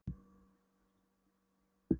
Meyjanna mesta yndi það er að eiga vin.